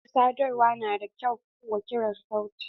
Hanyar sadarwa na da kyau wa kirar sauti?